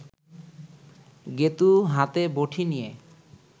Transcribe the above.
গেঁতু হাতে বটি নিয়ে